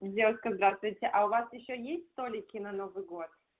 девушка здравствуйте а у вас ещё есть столики на новый год